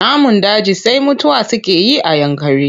Namun daji sai mutuwa suke yi a Yankari.